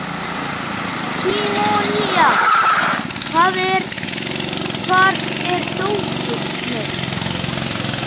Símonía, hvar er dótið mitt?